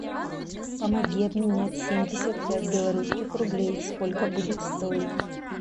помоги обменять семьдесят пять белорусских рублей сколько будет стоить